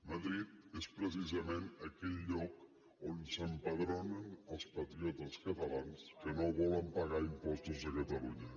madrid és precisament aquell lloc on s’empadronen els patriotes catalans que no volen pagar impostos a catalunya